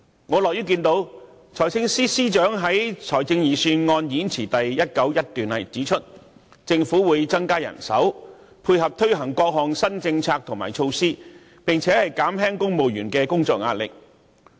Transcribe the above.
我樂於看到財政司司長在財政預算案演辭第191段指出："政府會增加人手，配合推行各項新政策和措施，並減輕公務員的工作壓力......